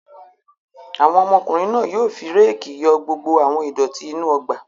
Àwọn ọmọkùnrin náà yóò fi réékì yọ gbogbo àwọn ìdọ̀tí inú ọgbà!